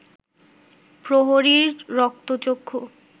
প্রহরীর রক্তচক্ষু